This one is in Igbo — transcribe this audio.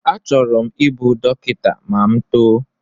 Achọrọ m ịbụ dọkịta ma m too